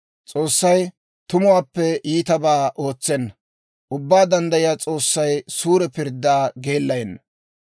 S'oossay tumuwaappe iitabaa ootsenna; Ubbaa Danddayiyaa S'oossay suure pirddaa geellayenna.